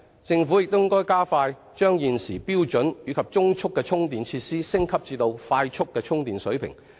政府應加快把現時標準及中速的充電設施升級至快速充電水平。